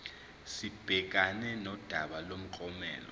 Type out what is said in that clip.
sibhekane nodaba lomklomelo